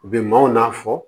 Bi maaw n'a fɔ